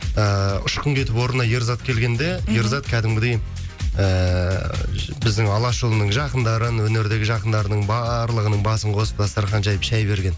ыыы ұшқын кетіп орнына ерзат келгенде ерзат кәдімгідей ыыы біздің алашұлының жақындарын өнердегі жақындарының барлығының басып қосып дастархан жайып шай берген